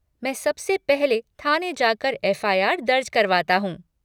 मैं सबसे पहले थाने जाकर एफ़.आई.आर. दर्ज करवाता हूँ।